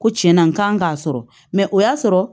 Ko tiɲɛna n kan k'a sɔrɔ mɛ o y'a sɔrɔ